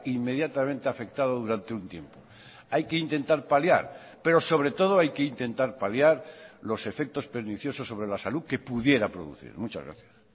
inmediatamente afectado durante un tiempo hay que intentar paliar pero sobre todo hay que intentar paliar los efectos perniciosos sobre la salud que pudiera producir muchas gracias